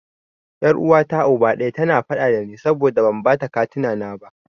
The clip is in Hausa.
Yar uwata Uba ɗaya, tana faɗa dani saboda ban bata katina na ba.